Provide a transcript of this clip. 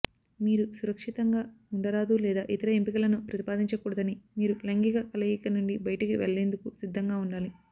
మీరు సురక్షితంగా ఉండరాదు లేదా ఇతర ఎంపికలను ప్రతిపాదించకూడదని మీరు లైంగిక కలయిక నుండి బయటికి వెళ్లేందుకు సిద్ధంగా ఉండాలి